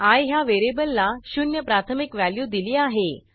I ह्या व्हेरिएबलला 0 प्राथमिक व्हॅल्यू दिली आहे